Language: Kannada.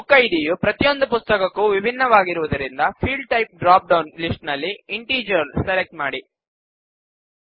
ಬುಕ್ ಐಡಿ ಯು ಪ್ರತಿಯೊಂದು ಪುಸ್ತಕಕ್ಕೂ ವಿಭಿನ್ನವಾಗಿರುವುದರಿಂದ field type drop down list ನಲ್ಲಿ ಇಂಟಿಜರ್ ಸೆಲೆಕ್ಟ್ ಮಾಡಿ